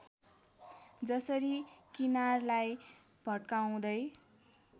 जसरी किनारलाई भत्काउँदै